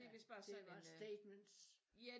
Ja det bare statements